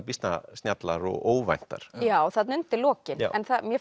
býsna snjallar og óvæntar já þarna undir lokin ég